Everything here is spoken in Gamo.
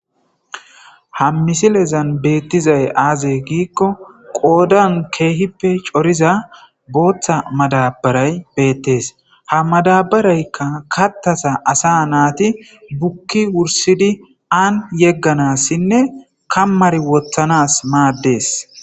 Ha misilezani bettidayi aze gikko qoodani kehippe cooriza botha madabarayi bettesi ha madabarayi kathaza assa nati buki wurisidi ani yeganasine kamari wothanasi madesi.